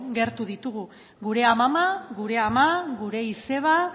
gertu ditugu gure amama gure ama gure izeba